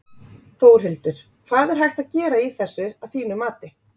Þórhildur: Hvað er hægt að gera í þessu að þínu mati?